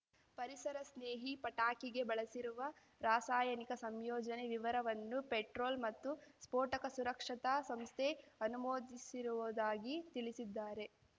ಪರಿಸರ ಸ್ನೇಹಿ ಪಟಾಕಿಗೆ ಬಳಸಿರುವ ರಾಸಾಯನಿಕ ಸಂಯೋಜನೆ ವಿವರವನ್ನು ಪೆಟ್ರೋಲ್ ಮತ್ತು ಸ್ಫೋಟಕ ಸುರಕ್ಷತಾ ಸಂಸ್ಥೆ ಅನುಮೋದಿಸಿರುವುದಾಗಿ ತಿಳಿಸಿದ್ದಾರೆ